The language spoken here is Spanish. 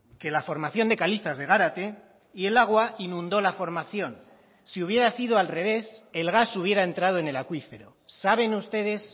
que la formación de calizas de gárate y el agua inundó la formación si hubiera sido al revés el gas hubiera entrado en el acuífero saben ustedes